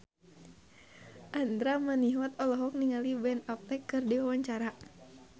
Andra Manihot olohok ningali Ben Affleck keur diwawancara